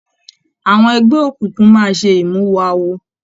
Àwọn ẹgbẹ òkùnkùn máa ṣe imuwọ̀ awo.